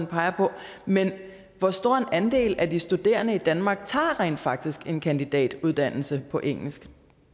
peger på men hvor stor en andel af de studerende i danmark tager rent faktisk en kandidatuddannelse på engelsk